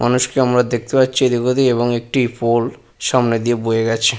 মানুষকে আমরা দেখতে পাচ্ছি এদিক ওদিক এবং একটি পোল সামনে দিয়ে বয়ে গেছে।